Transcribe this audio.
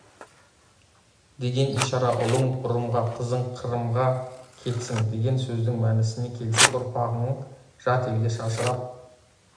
деген ишара ұлың ұрымға қызың қырымға кетсін деген сөздің мәнісіне келсек ұрпағың жат елге шашырап